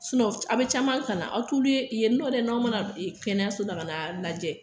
a bɛ caman kalan, aw t'ulu ye yen don dɛ, n'aw ma na kɛnɛso la, ka na lajɛ